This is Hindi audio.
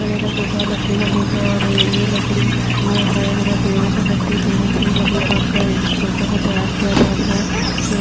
सोफा लकड़ी का सोफा और ये लकड़ी जो है हमें पेड़ो से मिलती है पेड़ों से ही लकड़ी काटकर इन सोफों को तैयार किया जाता है फिर --